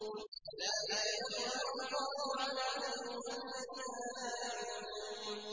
كَذَٰلِكَ يَطْبَعُ اللَّهُ عَلَىٰ قُلُوبِ الَّذِينَ لَا يَعْلَمُونَ